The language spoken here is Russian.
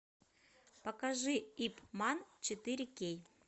покажи ип ман четыре кей